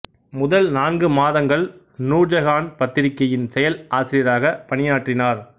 முதல் நான்கு மாதங்கள் நூர் ஜஹான் பத்திரிகையின் செயல் ஆசிரியராக பணியாற்றினார்